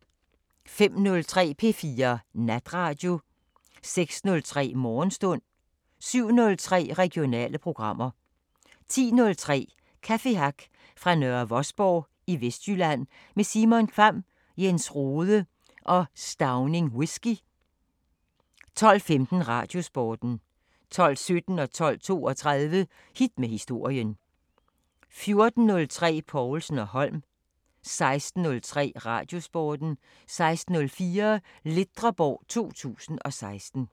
05:03: P4 Natradio 06:03: Morgenstund 07:03: Regionale programmer 10:03: Cafe Hack fra Nørre Vosborg i Vestjylland med Simon Kvamm, Jens Rhode og Stauning Whisky 12:15: Radiosporten 12:17: Hit med historien 12:32: Hit med historien 14:03: Povlsen & Holm 16:03: Radiosporten 16:04: Ledreborg 2016